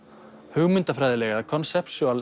hugmyndafræðilega